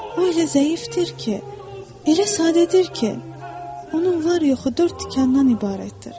O elə zəifdir ki, elə sadədir ki, onun var-yoxu dörd tikandan ibarətdir.